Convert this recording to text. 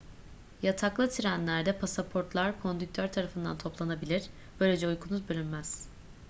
yataklı trenlerde pasaportlar kondüktör tarafından toplanabilir böylece uykunuz bölünmez